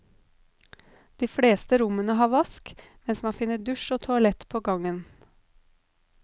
De fleste rommene har vask, mens man finner dusj og toalett på gangen.